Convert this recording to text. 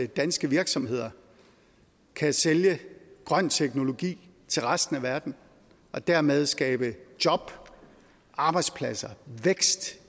danske virksomheder kan sælge grøn teknologi til resten af verden og dermed skabe job arbejdspladser og vækst